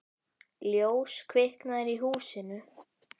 Ljós kviknar í húsinu.